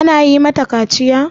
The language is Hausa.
Ana yi ma mata kaciya?